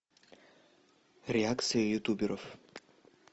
реакция ютуберов